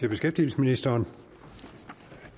det beskæftigelsesministeren